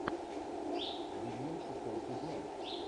винил шестой сезон